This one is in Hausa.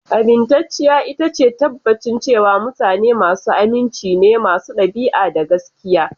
Amintacciya ita ce tabbacin cewa mutane masu aminci ne, masu ɗabi'a, da gaskiya.